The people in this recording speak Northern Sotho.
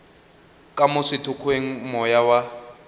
ka mo sethokgweng moya wa